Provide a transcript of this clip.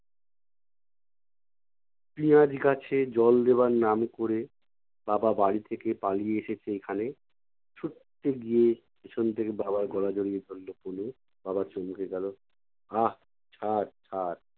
পিঁয়াজ গাছে জল দেবার নাম করে, বাবা বাড়ি থেকে পালিয়ে এসেছে এইখানে। ছুট্টে গিয়ে পিছন থেকে বাবার গলা জড়িয়ে ধরলো তনু, বাবা চমকে গেলো। আহ! ছাড় ছাড়।